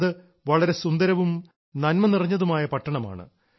അത് വളരെ സുന്ദരവും നന്മ നിറഞ്ഞതുമായ പട്ടണമാണ്